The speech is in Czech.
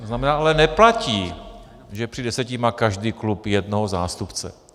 To znamená, ale neplatí, že při deseti má každý klub jednoho zástupce.